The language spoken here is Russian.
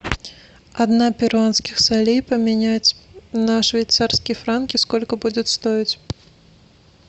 одна перуанских солей поменять на швейцарские франки сколько будет стоить